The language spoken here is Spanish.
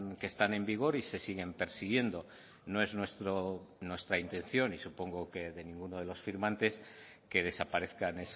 que están en vigor y se siguen persiguiendo no es nuestra intención y supongo que de ninguno de los firmantes que desaparezcan